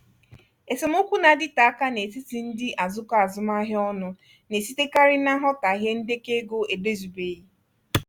esemokwu na-adịte aka n'etiti ndị azụkọ azụmahịa ọnụ na-esitekarị na nghọtahie ndekọ ego edozibeghị.